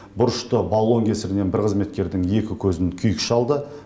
бұрышты баллон кесірінен бір қызметкердің екі көзін күйік шалды